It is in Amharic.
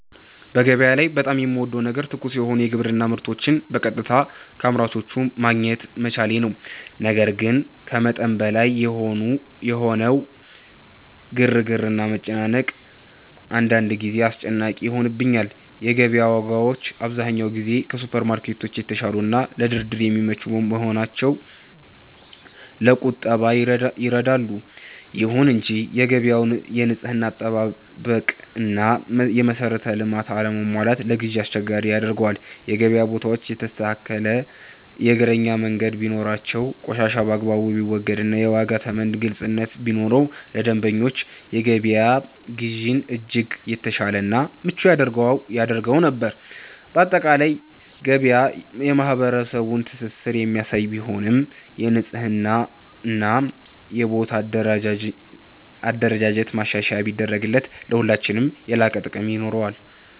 በገበያ ላይ በጣም የምወደው ነገር ትኩስ የሆኑ የግብርና ምርቶችን በቀጥታ ከአምራቾች ማግኘት መቻሌ ነው። ነገር ግን ከመጠን በላይ የሆነው ግርግርና መጨናነቅ አንዳንድ ጊዜ አስጨናቂ ይሆንብኛል። የገበያ ዋጋዎች አብዛኛውን ጊዜ ከሱፐርማርኬቶች የተሻሉና ለድርድር የሚመቹ በመሆናቸው ለቁጠባ ይረዳሉ። ይሁን እንጂ የገበያው የንጽህና አጠባበቅና የመሰረተ ልማት አለመሟላት ለግዢ አስቸጋሪ ያደርገዋል። የገበያ ቦታዎች የተስተካከለ የእግረኛ መንገድ ቢኖራቸው፣ ቆሻሻ በአግባቡ ቢወገድና የዋጋ ተመን ግልጽነት ቢኖረው ለደንበኞች የገበያ ግዢን እጅግ የተሻለና ምቹ ያደርገው ነበር። ባጠቃላይ ገበያ የማህበረሰቡን ትስስር የሚያሳይ ቢሆንም፣ የንጽህናና የቦታ አደረጃጀት ማሻሻያ ቢደረግበት ለሁላችንም የላቀ ጥቅም ይኖረዋል።